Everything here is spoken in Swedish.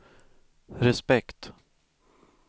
respekt